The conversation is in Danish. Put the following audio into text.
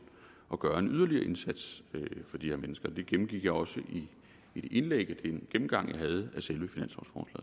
at gøre en yderligere indsats for de her mennesker det gennemgik jeg også i indlægget i min gennemgang